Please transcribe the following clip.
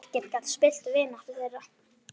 Ekkert gat spillt vináttu þeirra.